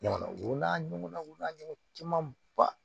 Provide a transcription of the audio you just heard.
Ɲɔgɔnna u n'a ɲɔgɔnnaw camanba